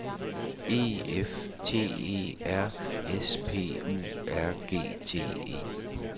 E F T E R S P U R G T E